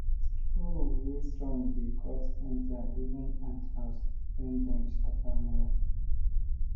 hoe way strong dey cut enter even ant house when dem sharp am well